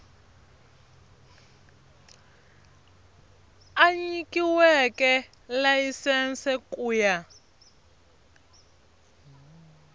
a nyikiweke layisense ku ya